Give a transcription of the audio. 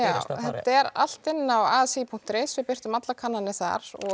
þetta er allt inni á asi punktur is við birtum allar kannanir þar